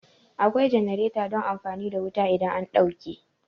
Akwai jenareta don amfani da wuta idan an ɗauke